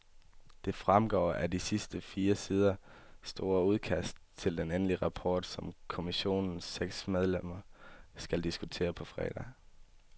Det fremgår af det fire sider store udkast til den endelige rapport, som kommissionens seks medlemmer skal diskutere på fredag.